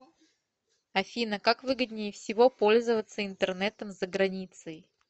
афина как выгоднее всего пользоваться интернетом за границей